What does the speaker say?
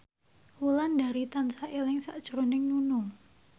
Wulandari tansah eling sakjroning Nunung